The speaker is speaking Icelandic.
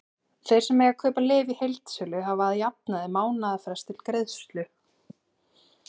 Þeir sem mega kaupa lyf í heildsölu hafa að jafnaði mánaðarfrest til greiðslu.